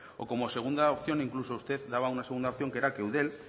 o como segunda opción incluso usted daba una segunda opción que era que eudel